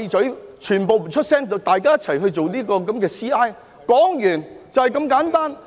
在這裏，全部人閉嘴，大家一起進行調查，說完，就這麼簡單。